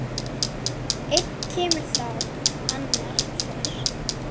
Einn kemur þá annar fer.